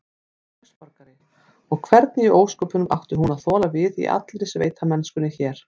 Var heimsborgari, og hvernig í ósköpunum átti hún að þola við í allri sveitamennskunni hér?